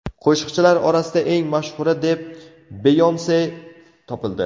Qo‘shiqchilar orasida eng mashhuri deb Beyonse topildi.